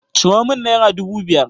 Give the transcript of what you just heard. Ciro min naira dubu biyar.